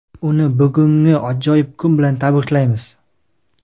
Uni bugungi ajoyib kuni bilan tabriklaymiz.